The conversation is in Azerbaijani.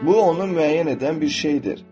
Bu onu müəyyən edən bir şeydir.